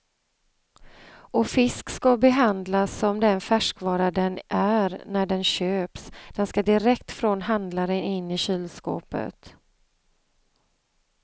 Och fisk skall behandlas som den färskvara den är när den köps, den skall direkt från handlaren in i kylskåpet.